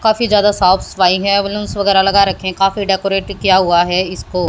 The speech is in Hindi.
काफी ज्यादा साफ सफाई है बलूंस वगैरह लगा रखे हैं काफी डेकोरेट किया हुआ है इसको।